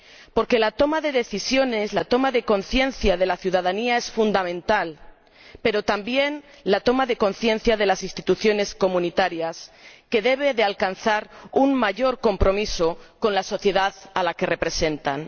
Porque la toma de decisiones, la toma de conciencia de la ciudadanía es fundamental, pero también lo es la toma de conciencia de las instituciones comunitarias, que deben alcanzar un mayor compromiso con la sociedad a la que representan.